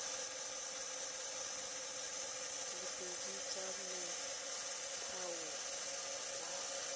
le pedi tsa motheo wa